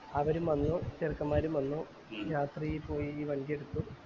അവരും വന്നു ചെറുക്കന്മാരും വന്നു രാത്രി പോയി വണ്ടി എടുത്തു